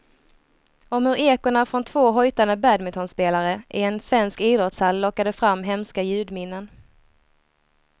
Om hur ekona från två hojtande badmintonspelare i en svensk idrottshall lockade fram hemska ljudminnen.